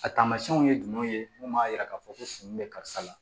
A taamasiyɛnw ye jumɛn ye mun b'a yira k'a fɔ ko sun bɛ karisa la